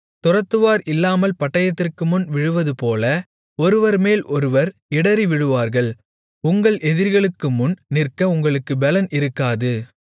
துரத்துவார் இல்லாமல் பட்டயத்திற்கு முன் விழுவதுபோல ஒருவர்மேல் ஒருவர் இடறிவிழுவார்கள் உங்கள் எதிரிகளுக்குமுன் நிற்க உங்களுக்குப் பெலன் இருக்காது